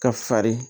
Ka fari